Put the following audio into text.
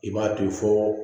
I b'a to ye fɔ